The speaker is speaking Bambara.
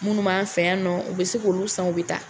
Munnu m'a fɛ yan nɔ u bɛ se k'olu san u be taa